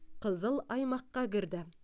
қызыл аймаққа кірді